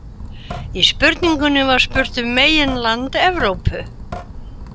Í spurningunni var spurt um meginland Evrópu.